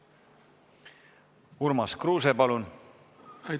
Urmas Kruuse, palun!